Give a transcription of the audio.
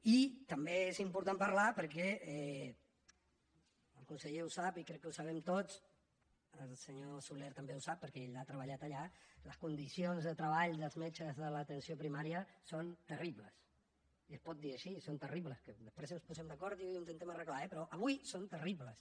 i també és important parlar perquè el conseller ho sap i crec que ho sabem tots el senyor soler també ho sap perquè ell ha treballat allà les condicions de treball dels metges de l’atenció primària són terribles i es pot dir així són terribles que després ens posem d’acord i ho intentem arreglar eh però avui són terribles